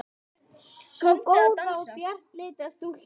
Sú góða og bjartleita stúlka.